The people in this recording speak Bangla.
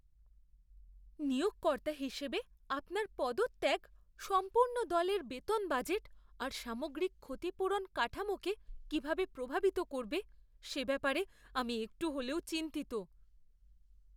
নিয়োগকর্তা হিসেবে, আপনার পদত্যাগ সম্পূর্ণ দলের বেতন বাজেট আর সামগ্রিক ক্ষতিপূরণ কাঠামোটাকে কিভাবে প্রভাবিত করবে, সে ব্যাপারে আমি একটু হলেও চিন্তিত।